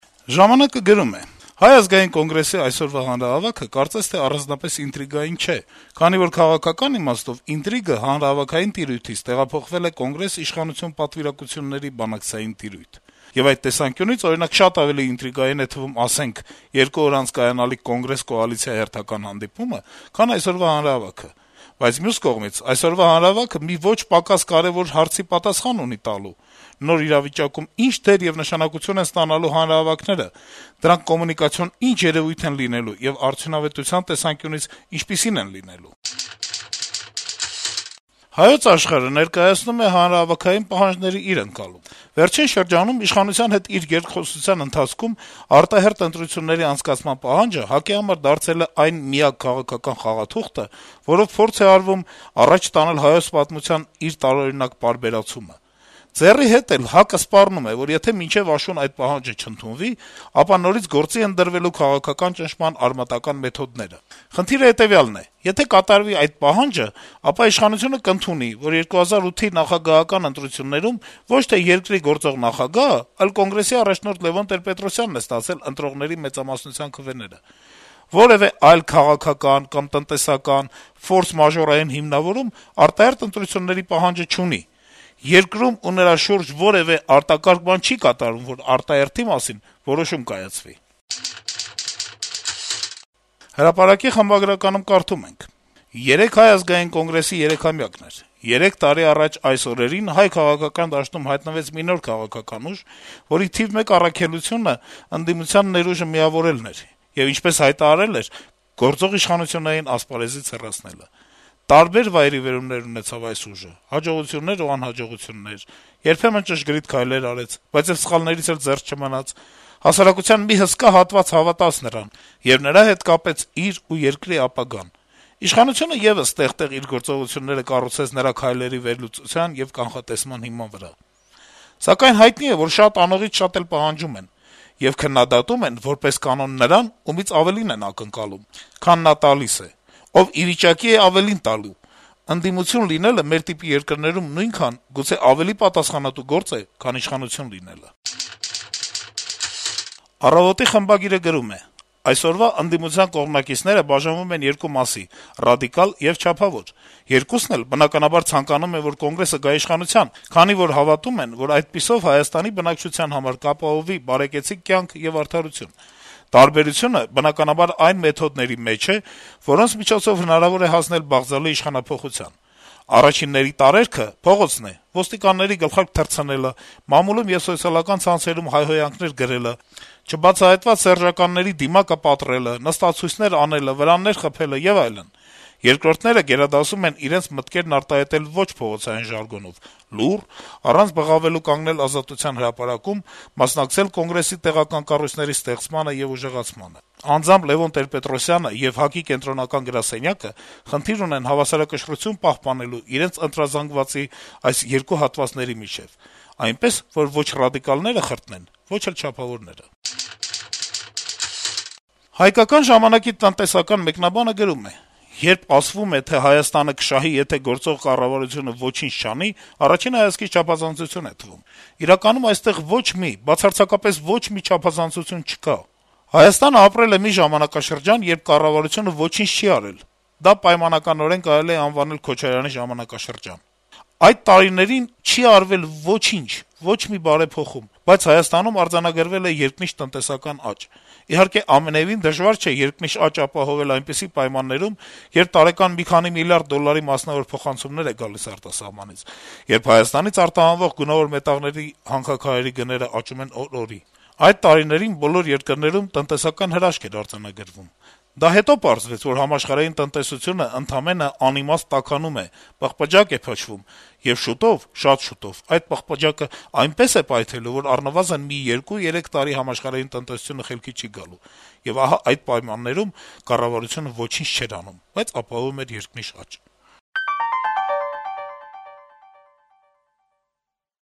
«Ժամանակ»-ը գրում է. -«Հայ ազգային կոնգրեսի այսօրվա հանրահավաքը կարծես թե առանձնապես ինտրիգային չէ, քանի որ քաղաքական իմաստով ինտրիգը հանրահավաքային տիրույթից տեղափոխվել է Կոնգրես-իշխանություն պատվիրակությունների բանակցային տիրույթ: Եվ այդ տեսանկյունից, օրինակ, շատ ավելի ինտրիգային է թվում, ասենք, երկու օր անց կայանալիք Կոնգրես-կոալիցիա հերթական հանդիպումը, քան այսօրվա հանրահավաքը: Բայց, մյուս կողմից, այսօրվա հանրահավաքը մի ոչ պակաս կարեւոր հարցի պատասխան ունի տալու՝ նոր իրավիճակում ի՞նչ դեր եւ նշանակություն են ստանալու հանրահավաքները, դրանք կոմունիկացիոն ի՞նչ երեւույթ են լինելու եւ արդյունավետության տեսանկյունից ինչպիսի՞ն են լինելու»: «Հայոց Աշխարհ»-ը ներկայացնում է հանրահավաքային պահանջների իր ընկալումը. - «Վերջին շրջանում իշխանության հետ իր երկխոսության ընթացքում արտահերթ ընտրությունների անցկացման պահանջը ՀԱԿ-ի համար դարձել է այն միակ «քաղաքական խաղաթուղթը», որով փորձ է արվում առաջ տանել հայոց պատմության իր տարօրինակ պարբերացումը։ «Ձեռի հետ» էլ ՀԱԿ-ը սպառնում է, որ եթե մինչեւ աշուն այդ պահանջը չընդունվի, ապա նորից գործի են դրվելու քաղաքական ճնշման արմատական մեթոդները։ Խնդիրը հետեւյալն է. եթե կատարվի այդ պահանջը, ապա իշխանությունը կընդունի, որ 2008-ի նախագահական ընտրություններում ոչ թե երկրի գործող նախագահը, այլ կոնգրեսի առաջնորդ Լեւոն Տեր-Պետրոսյանն է ստացել ընտրողների մեծամասնության քվեները: Որեւէ այլ քաղաքական կամ տնտեսական «ֆորսմաժորային հիմնավորում» արտահերթ ընտրությունների պահանջը չունի. երկրում ու նրա շուրջը որեւէ արտակարգ բան չի կատարվում, որ արտահերթի մասին որոշում կայացվի»։ «Հրապարակ»-ի խմբագրականում կարդում ենք. - «Երեկ Հայ ազգային կոնգրեսի երեքամյակն էր: 3 տարի առաջ այս օրերին հայ քաղաքական դաշտում հայտնվեց մի նոր քաղաքական ուժ, որի թիվ մեկ առաքելությունն ընդդիմության ներուժը միավորելն էր եւ, ինչպես հայտարարել էր, գործող իշխանություններին ասպարեզից հեռացնելը: Տարբեր վայրիվերումներ ունեցավ այս ուժը՝ հաջողություններ ու անհաջողություններ, երբեմն ճշգրիտ քայլեր արեց, բայց եւ սխալներից էլ զերծ չմնաց: Հասարակության մի հսկա հատված հավատաց նրան եւ նրա հետ կապեց իր ու երկրի ապագան: Իշխանությունը եւս տեղ-տեղ իր գործողությունները կառուցեց նրա քայլերի վերլուծության եւ կանխատեսման հիման վրա: Սակայն հայտնի է, որ շատ անողից շատ էլ պահանջում են: Եվ քննադատում են, որպես կանոն, նրան, ումից ավելին են ակնկալում, քան նա տալիս է: Ով ի վիճակի է ավելին տալու: Ընդդիմություն լինելը մեր տիպի երկրներում նույնքան, գուցե ավելի պատասխանատու գործ է, քան իշխանություն լինելը»: «Առավոտ»-ի խմբագիրը գրում է. - «Այսօրվա ընդդիմության կողմնակիցները բաժանվում են երկու մասի` ռադիկալ եւ չափավոր: Երկուսն էլ, բնականաբար, ցանկանում են, որ Կոնգրեսը գա իշխանության, քանի որ հավատում են, որ այդպիսով Հայաստանի բնակչության համար կապահովվի բարեկեցիկ կյանք եւ արդարություն: Տարբերությունը, բնականաբար, այն մեթոդների մեջ է, որոնց միջոցով հնարավոր է հասնել բաղձալի իշխանափոխության: Առաջինների տարերքը փողոցն է` ոստիկանների գլխարկ թռցնելը, մամուլում եւ սոցիալական ցանցերում հայհոյանքներ գրելը, չբացահայտված սերժականների «դիմակը պատռելը», նստացույցեր անելը, վրաններ խփելը եւ այլն: Երկրորդները գերադասում են իրենց մտքերն արտահայտել ոչ փողոցային ժարգոնով, լուռ, առանց բղավելու կանգնել Ազատության հրապարակում, մասնակցել Կոնգրեսի տեղական կառույցների ստեղծմանը եւ ուժեղացմանը: Անձամբ Լեւոն Տեր-Պետրոսյանը եւ ՀԱԿ-ի կենտրոնական գրասենյակը խնդիր ունեն հավասարակշռություն պահպանելու իրենց ընտրազանգվածի այս երկու հատվածների միջեւ` այնպես, որ ոչ ռադիկալները խրտնեն, ոչ էլ չափավորները»: «Հայկական ժամանակ»-ի տնտեսական մեկնաբանը գրում է. - «Երբ ասվում է, թե Հայաստանը կշահի, եթե գործող կառավարությունը ոչինչ չանի, առաջին հայացքից չափազանցություն է թվում: Իրականում այստեղ ոչ մի, բացարձակապես ոչ մի չափազանցություն չկա: Հայաստանը ապրել է մի ժամանակաշրջան, երբ կառավարությունը ոչինչ չի արել: Դա պայմանականորեն կարելի է անվանել «Քոչարյանի ժամանակաշրջան»: Այդ տարիներին չի արվել ոչինչ` ոչ մի բարեփոխում: Բայց Հայաստանում արձանագրվել է երկնիշ տնտեսական աճ: Իհարկե, ամենեւին դժվար չէ երկնիշ աճ ապահովել այնպիսի պայմաններում, երբ տարեկան մի քանի միլիարդ դոլարի մասնավոր փոխանցումներ են գալիս արտասահմանից, երբ Հայաստանից արտահանվող գունավոր մետաղների հանքաքարերի գները աճում են օր-օրի: Այդ տարիներին բոլոր երկրներում էր «տնտեսական հրաշք» արձանագրվում: Դա հետո պարզվեց, որ համաշխարհային տնտեսությունը ընդամենը անիմաստ «տաքանում է», պղպջակ է փչվում, եւ շուտով` շատ շուտով այդ պղպջակը այնպես է պայթելու, որ առնվազն մի 2-3 տարի համաշխարհային տնտեսությունը խելքի չի գալու: Եվ ահա այդ պայմաններում կառավարությունը ոչինչ չէր անում, բայց ապահովում էր երկնիշ աճ»: